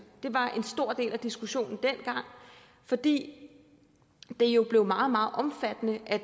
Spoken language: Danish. det var dengang en stor del af diskussionen fordi det jo blev meget omfattende at